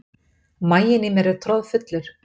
Maginn í mér er troðfullur.